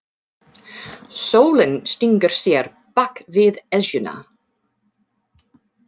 Sólin stingur sér bak við Esjuna.